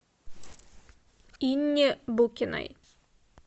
инне букиной